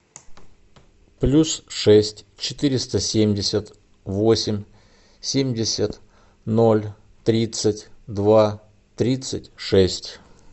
плюс шесть четыреста семьдесят восемь семьдесят ноль тридцать два тридцать шесть